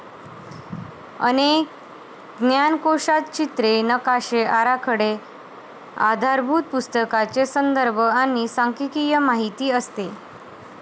अनेक ज्ञानकोशात चित्रे, नकाशे, आराखडे, आधारभूत पुस्तकांचे संदर्भ आणि सांख्यिकीय माहिती असते.